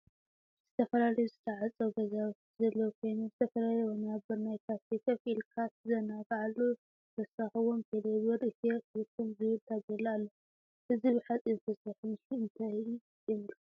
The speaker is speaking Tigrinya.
ዝተፈላለዮ ዝትዓፀው ገዛውቲ ዘለው ኮይኖም ዝተፈላለየ ወናብር ናይ ካፌ ከፍ ኢልካ ትዘናግዓሉ ብተወሳካ ውን ቴሌ ብር ኢትዮ ቴለኮም ዝብል ታቤላ አሎ ።እዛ ብሐፂን ዝተሰርሐ ምስሊ እንታይ የመል ክት ?